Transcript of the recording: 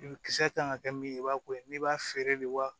I bɛ kisɛ kan ka kɛ min ye i b'a ko ye n'i b'a feere de wa